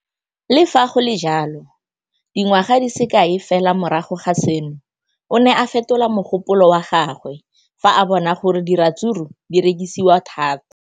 Le fa go le jalo, dingwaga di se kae fela morago ga seno, o ne a fetola mogopolo wa gagwe fa a bona gore diratsuru di rekisiwa thata.